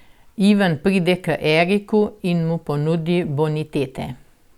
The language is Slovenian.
Ivan pride k Eriku in mu ponudi bonitete.